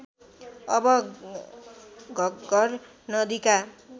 अब घग्घर नदीका